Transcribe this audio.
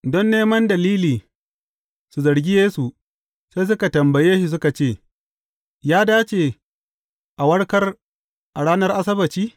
Don neman dalili su zargi Yesu, sai suka tambaye shi suka ce, Ya dace a warkar a ranar Asabbaci?